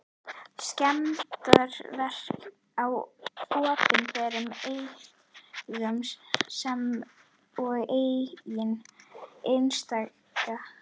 Skemmdarverk á opinberum eignum sem og eignum einstaklinga.